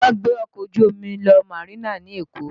Wọ́n gbé ọkọ̀ ojú omi lọ Marina ní Èkó